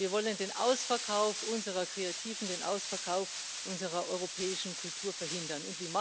Wir wollen den Ausverkauf unserer Kreativen, den Ausverkauf unserer europäischen Kultur verhindern.